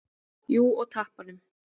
Jú, og tappanum.